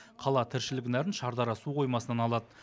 қала тіршілік нәрін шардара су қоймасынан алады